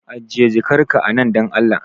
Ajiye jakar ka a nan dan Allah